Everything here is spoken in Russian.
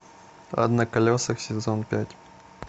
ад на колесах сезон пять